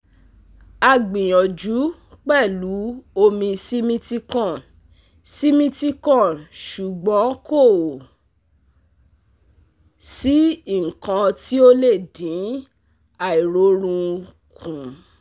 Agbiyanju pelu omi Simithicone Simithicone sugbon ko si ikan ti o le din airorun kun